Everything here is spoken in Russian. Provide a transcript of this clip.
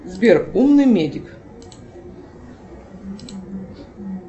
сбер умный медик